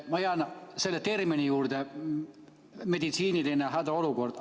Ma jään selle meditsiinilise hädaolukorra termini juurde.